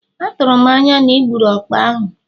Atụrụ m anya na ị gburu ọkpa ahụ?